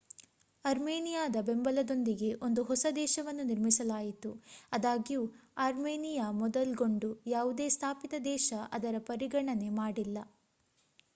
ಅರ್ಮೇನಿಯಾದ ಬೆಂಬಲದೊಂದಿಗೆ ಒಂದು ಹೊಸ ದೇಶವನ್ನು ನಿರ್ಮಿಸಲಾಯಿತು ಅದಾಗ್ಯೂ ಆರ್ಮೆನಿಯಾ ಮೊದಲ್ಗೊಂಡು ಯಾವುದೇ ಸ್ಥಾಪಿತ ದೇಶ ಅದರ ಪರಿಗಣನೆ ಮಾಡಿಲ್ಲ